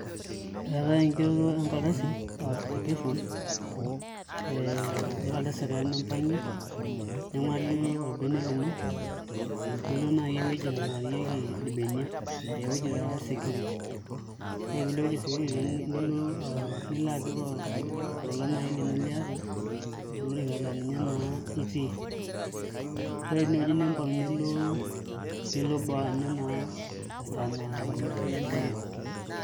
Eatai enhoto enkardasi e application ee enkardasi taa nimpang'ie ning'urarue orbene lino nilo naai eweuji ning'urarieki irbenia ewueji taa e security, ore piilo ewueji e security nilo aa nilo apik naai olola lino liata olorika laa ninye naa itii, ore tinewueji niipang' nilo boo aanyu naa esaa nalotie enteke.